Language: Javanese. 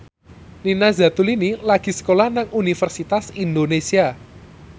Nina Zatulini lagi sekolah nang Universitas Indonesia